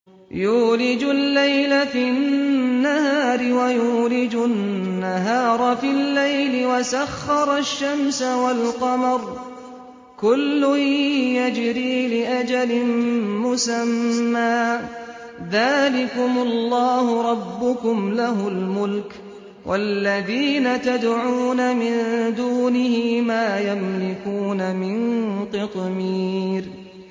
يُولِجُ اللَّيْلَ فِي النَّهَارِ وَيُولِجُ النَّهَارَ فِي اللَّيْلِ وَسَخَّرَ الشَّمْسَ وَالْقَمَرَ كُلٌّ يَجْرِي لِأَجَلٍ مُّسَمًّى ۚ ذَٰلِكُمُ اللَّهُ رَبُّكُمْ لَهُ الْمُلْكُ ۚ وَالَّذِينَ تَدْعُونَ مِن دُونِهِ مَا يَمْلِكُونَ مِن قِطْمِيرٍ